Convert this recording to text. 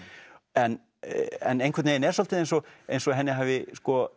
en einhvern veginn er svolítið eins og eins og henni hafi